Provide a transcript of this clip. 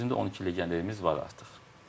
Bizim də 12 legionerimiz var artıq.